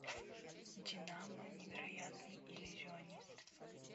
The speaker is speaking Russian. динамо невероятный иллюзионист